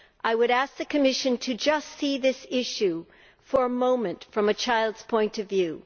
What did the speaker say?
I would ask the Commission to view this issue for a moment from a child's point of view.